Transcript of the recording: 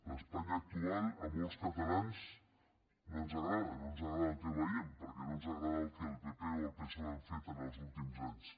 l’espanya actual a molts catalans no ens agrada no ens agrada el que veiem perquè no ens agrada el que el pp o el psoe han fet en els últims anys